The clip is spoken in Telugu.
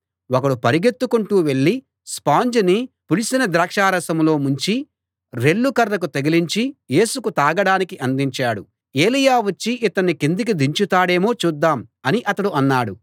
ఒకడు పరుగెత్తుకుంటూ వెళ్ళి స్పాంజ్ ని పులిసిన ద్రాక్షారసంలో ముంచి రెల్లు కర్రకు తగిలించి యేసుకు తాగడానికి అందించాడు ఏలీయా వచ్చి ఇతన్ని కిందికి దించుతాడేమో చూద్దాం అని అతడు అన్నాడు